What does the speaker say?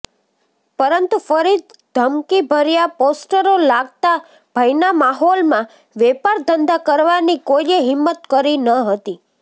પરંતુ ફરી ધમકીભર્યા પોસ્ટરો લાગતા ભયના માહોલમાં વેપારધંધા કરવાની કોઈએ હિંમત કરી ન હતી